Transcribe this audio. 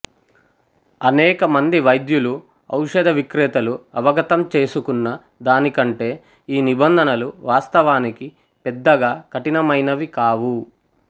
అనేక మంది వైద్యులు ఔషధ విక్రేతలు అవగతం చేసుకున్న దాని కంటే ఈ నిబంధనలు వాస్తవానికి పెద్దగా కఠినమైనవి కావు